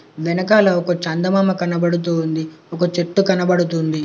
వెనకాల ఒక చందమామ కనబడుతూ ఉంది ఒక చెట్టు కనబడుతుంది.